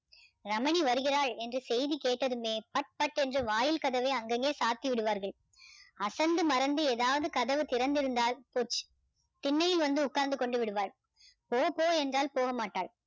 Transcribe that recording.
ரமணி வருகிறாள் என்ற செய்தி கேட்டதுமே பட் பட் என்று வாயில் கதவை அங்கங்கே சாத்தி விடுவார்கள் அசந்து மறந்து ஏதாவது கதவு திறந்து இருந்தால் போச்சு திண்ணையில் வந்து உட்கார்ந்து கொண்டு விடுவாள் போ போ என்றால் போகமாட்டாள்